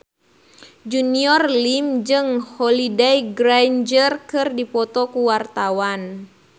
Junior Liem jeung Holliday Grainger keur dipoto ku wartawan